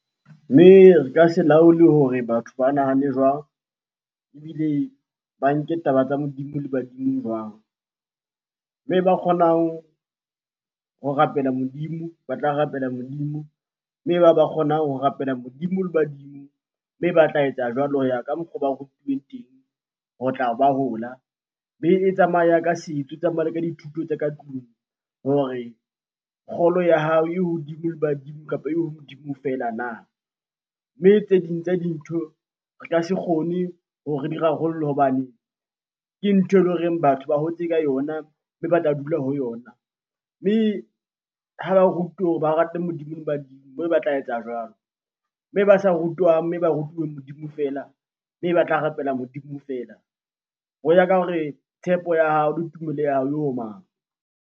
Mme re ka se laole hore batho ba nahane jwang ebile ba nke taba tsa Modimo le badimo jwang? Mme ba kgonang ho rapela Modimo ba tla rapela Modimo, mme ba kgonang ho rapela Modimo le badimo, mme ba tla etsa jwalo ho ya ka mokgwa oo ba rutuweng teng ho tla ba hola. Mme e tsamaya ka e tsamaya le ka dithuto tsa ka tlung hore kgolo ya hao e hodimo le badimo kapa e ho Modimo feela na? Mme tse ding tsa dintho re ka se kgone hore re di rarollla hobane ke ntho ele horeng batho ba hotse ka yona mme ba tla dula ho yona. Mme ha ba rutuwe hore ba rate Modimo le badimo ba tla etsa jwalo. Mme ba sa rutwang mme ba rutuweng Modimo feela, mme ba tla rapela Modimo feela. Ho ya ka hore tshepo ya hao le tumelo ya hao e ho mang?